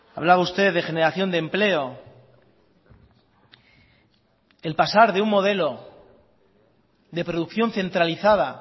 hablaba usted de generación de empleo el pasar de un modelo de producción centralizada